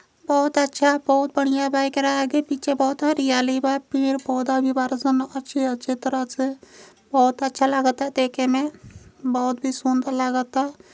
बोहोत अच्छा बोहोत बढ़िया बा। एकरा आगे पीछे बहोत हरियाली बा। पेड़ पौधा भी बाड़ सन अच्छी अच्छी तरह से। बहोत अच्छा लागत देखे में बहोत ही सुंदर लागता।